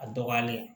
A dɔgɔyalen